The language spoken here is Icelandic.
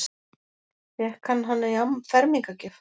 Fékk hann hann í fermingargjöf?